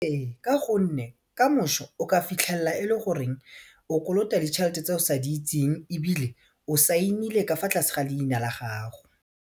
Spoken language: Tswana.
Ee ka gonne kamošo o ka fitlhella e le gore o kolota ditšhelete tse o sa di itseng ebile o saenile ka fa tlase ga leina la gago.